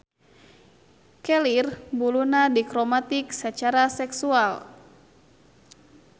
Kelir buluna dikromatik sacara seksual.